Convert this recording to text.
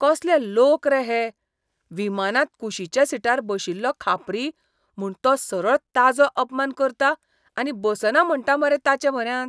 कसले लोक रे हे! विमानांत कुशीच्या सिटार बशिल्लो खापरी, म्हूण तो सरळ ताजो अपमान करता आनी बसना म्हणटा मरे ताचे म्हऱ्यांत.